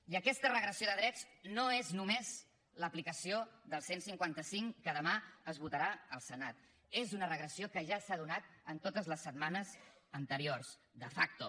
i aquesta regressió de drets no és només l’aplicació del cent i cinquanta cinc que demà es votarà al senat és una regressió que ja s’ha donat en totes les setmanes anteriors de facto